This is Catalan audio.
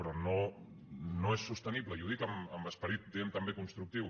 però no és sostenible i ho dic amb esperit diguem ne també constructiu